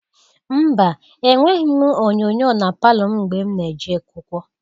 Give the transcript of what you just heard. Mba! Enweghi m onyoonyoo na palọ m mgbe m na-eje akwụkwọ.